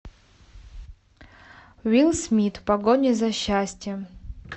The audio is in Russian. уилл смит в погоне за счастьем